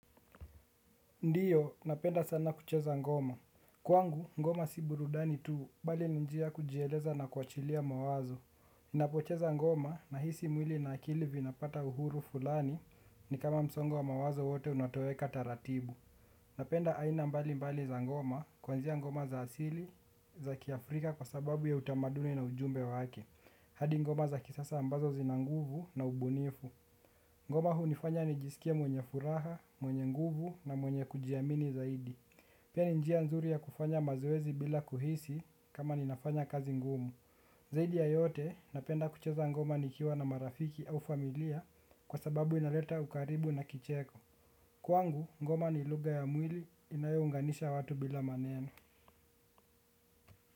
Ndiyo, napenda sana kucheza ngoma. Kwangu, ngoma si burudani tuu bali ni njia kujieleza na kuachilia mawazo. Ninapocheza ngoma nahisi mwili na akili vinapata uhuru fulani ni kama msongo wa mawazo wote unatoweka taratibu. Napenda aina mbali mbali za ngoma kuanzia ngoma za asili za kiafrika kwa sababu ya utamaduni na ujumbe wake. Hadi ngoma za kisasa ambazo zina nguvu na ubunifu. Ngoma hunifanya nijisikie mwenye furaha, mwenye nguvu na mwenye kujiamini zaidi. Pia ni njia nzuri ya kufanya mazoezi bila kuhisi kama ninafanyakazi ngumu. Zaidi ya yote napenda kucheza ngoma nikiwa na marafiki au familia kwa sababu inaleta ukaribu na kicheko. Kwangu, ngoma ni lugha ya mwili inayounganisha watu bila maneno.